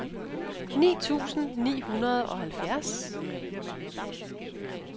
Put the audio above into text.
ni tusind ni hundrede og halvfjerds